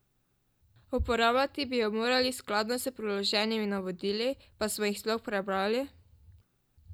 Uporabljati bi jo morali skladno s priloženimi navodili, pa smo jih sploh prebrali?